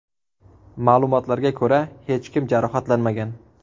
Ma’lumotlarga ko‘ra hech kim jarohatlanmagan.